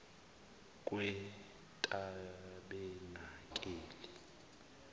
kwetabenakeli